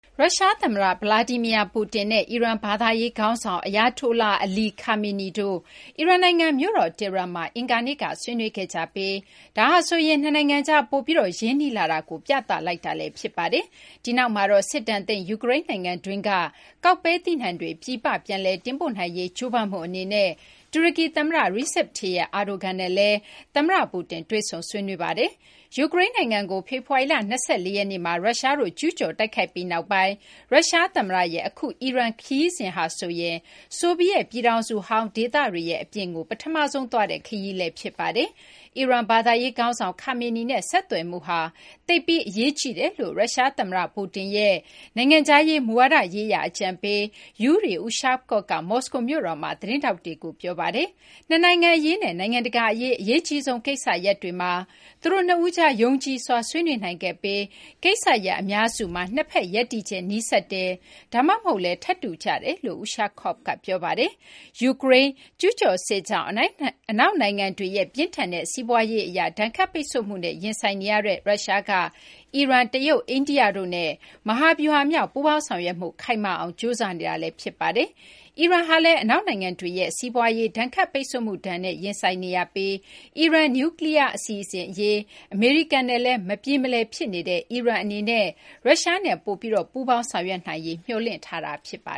ရုရှား သမ္မတ Vladimir Putin နဲ့ အီရန် ဘာသာရေး ခေါင်းဆောင် Ayatollah Ali Khamenei တို့ အီရန်နိုင်ငံ မြို့တော် Tehran မှာ အင်္ဂါနေ့က ဆွေးနွေးခဲ့ကြပြီး ဒါဟာဆိုရင် နှစ်နိုင်ငံကြား ပိုပြီး ရင်းနှီးလာတာကို ပြသလိုက်တာလည်း ဖြစ်ပါတယ်။ ဒီနောက်မှာတော့ စစ်ဒဏ်သင့် ယူကရိန်း နိုင်ငံတွင်းက ကောက်ပဲသီးနှံတွေ ပြည်ပ ပြန်လည် တင်ပို့နိုင်ရေး ကြိုးပမ်းမှု အနေနဲ့ တူရကီ သမ္မတ Recep Tayyip Erdogan နဲ့လည်း ရုရှားသမ္မတ Putin တွေ့ဆုံ ဆွေးနွေးခဲ့ပါတယ်။ ယူကရိန်းနိုင်ငံကို ဖေဖော်ဝါရီလ ၂၄ ရက်နေ့မှာ ရုရှားတို့ ကျူးကျော် တိုက်ခိုက်ပြီးနောက်ပိုင်း ရုရှား သမ္မတရဲ့ အခု အီရန် ခရီးစဉ်ဟာဆိုရင် ဆိုဗီယက်ပြည်ထောင်စုဟောင်း ဒေသတွေရဲ့ အပြင်ကို ပထမဆုံးသွားတဲ့ ခရီးစဉ်လည်း ဖြစ်ပါတယ်။ အီရန်ဘာသာရေး ခေါင်းဆောင် Khamenei နဲ့ ဆက်သွယ်မှုဟာ သိပ်ပြီး အရေးကြီးပါတယ်လို့ ရုရှား သမ္မတ Putin ရဲ့ နိုင်ငံခြားရေး မူဝါဒရေးရာ အကြံပေး Yuri Ushakov က မောစကို မြို့တော်မှာ သတင်းထောက်တွေကို ပြောဆိုခဲ့ပါတယ်။ နှစ်နိုင်ငံ အရေးနဲ့ နိုင်ငံတကာ အရေး အရေးကြီးဆုံး ကိစ္စရပ်တွေမှာ သူတို့ နှစ်ဦးကြား ယုံကြည်စွာ ဆွေးနွေးနိုင်ခဲ့ပြီး ကိစ္စရပ် အများစုမှာ နှစ်ဘက် ရပ်တည်ချက် နီးစပ်တယ် ဒါမှမဟုတ်လည်း ထပ်တူကျတယ်လို့လည်း Ushakov က ပြောပါတယ်။ ယူကရိန်း ကျူးကျော်စစ်ကြောင့် အနောက်နိုင်ငံတွေရဲ့ ပြင်းထန်တဲ့ စီးပွားရေး အရ ဒဏ်ခတ်ပိတ်ဆို့မှုနဲ့ ရင်ဆိုင်နေရတဲ့ ရုရှားက အီရန်၊ တရုတ် ၊ အိန္ဒိယတို့နဲ့ မဟာဗျူဟာမြောက် ပူးပေါင်းဆောင်ရွက်မှု ခိုင်မာအောင် ကြိုးစားနေတာ ဖြစ်ပါတယ်။ အီရန်နိုင်ငံဟာလည်း အနောက်နိုင်ငံတွေရဲ့ စီးပွားရေး ဒဏ်ခတ်ပိတ်ဆို့မှုဒဏ်နဲ့ ရင်ဆိုင်နေရပြီး အီရန် နျူးကလီးယား အစီအစဉ် အရေး အမေရိကန်နဲ့လည်း မပြေမလည် ဖြစ်နေတဲ့ အီရန် အနေနဲ့လည်း ရုရှားနဲ့ ပိုပြီး ပူးပေါင်းဆောင်ရွက်ရေး မျှော်လင့်ထားတာပါ